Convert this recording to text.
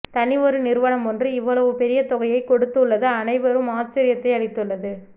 தனி ஒரு நிறுவனம் ஒன்று இவ்வளவு பெரிய தொகையை கொடுத்து உள்ளது அனைவரும் ஆச்சரியத்தை அளித்துள்ளது